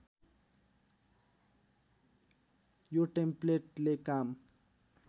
यो टेम्प्लेटले काम